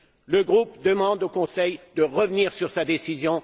Le groupe demande au Conseil de revenir sur sa décision.